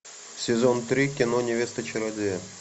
сезон три кино невеста чародея